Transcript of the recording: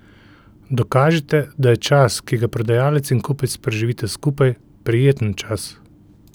Dokažite, da je čas, ki ga prodajalec in kupec preživita skupaj, prijeten čas.